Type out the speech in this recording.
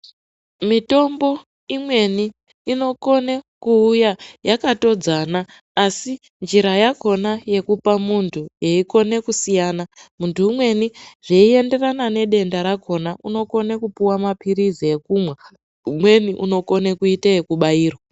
Mitombo imweni, inokone kuwuya yakatodzana, asi, njira yakhona yekupa muntu yeyikone kusiyana. Muntu umweni zveyiyenderana nedenda rakhona, unokone kupuwa maphirizi ekumwa, umweni unokone kuite yekubairwa.